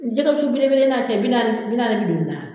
Jɛgɛ wusu bele bele n'a cɛ bi naani bi naani ni joli la.